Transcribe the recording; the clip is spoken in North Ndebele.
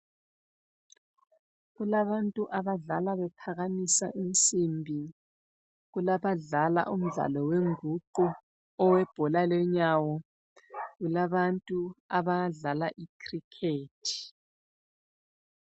Kulabantu abadlala bephakamisa insimbi, kulabadla umdlalo wenguqu, owebhola lenyawo, kulabantu abadlala icricket.